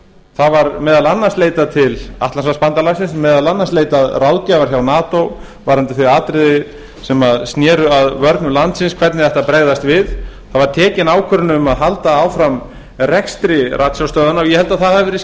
það var meðal annars leitað til atlantshafsbandalagsins meðal annars leitað ráðgjafar hjá nato varðandi þau atriði sem sér að vörnum landsins hvernig ætti að bregðast við það var tekin ákvörðun um að halda áfram rekstri ratstjárstöðvanna og ég held að það hafi verið